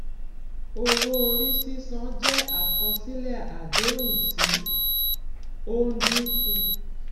owó-orí sísan jẹ àkọsílẹ àdéhùn tí ó ń dín kù